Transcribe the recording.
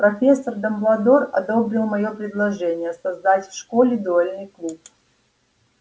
профессор дамблдор одобрил моё предложение создать в школе дуэльный клуб